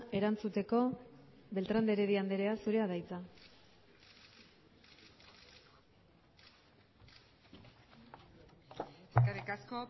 erantzuteko beltrán de heredia andrea zurea da hitza eskerrik asko